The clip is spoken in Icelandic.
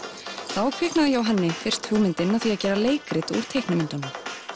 þá kviknaði hjá henni fyrst hugmyndin að því að gera leikrit úr teiknimyndunum